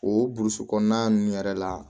O burusi kɔnɔna ninnu yɛrɛ la